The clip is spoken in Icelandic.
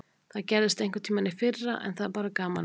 Það gerðist einhverntímann í fyrra en það er bara gaman að þessu.